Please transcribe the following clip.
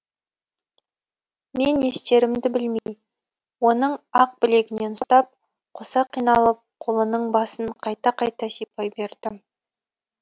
мен не істерімді білмей оның ақ білегінен ұстап қоса қиналып қолының басын қайта қайта сипай бердім